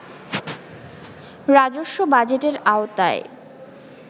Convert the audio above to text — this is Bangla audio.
রাজস্ব বাজেটের আওতায়